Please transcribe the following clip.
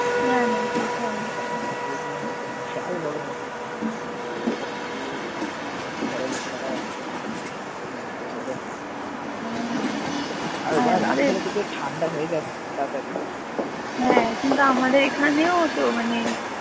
হ্যাঁ কিন্তু আমাদের এখানেও তো মানে ।